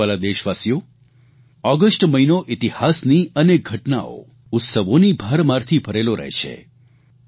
મારા વ્હાલા દેશવાસીઓ ઓગસ્ટ મહિનો ઇતિહાસની અનેક ઘટનાઓ ઉત્સવોની ભરમારથી ભરેલો રહે છે